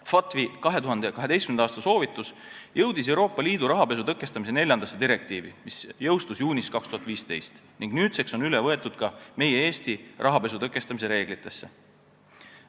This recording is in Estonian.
FATF-i 2012. aasta soovitus jõudis Euroopa Liidu rahapesu tõkestamise neljandasse direktiivi, mis jõustus juunis 2015 ning nüüdseks on üle võetud ka Eesti rahapesu tõkestamise reeglitesse.